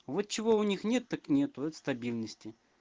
вот чего у них нет так нет так это стабильности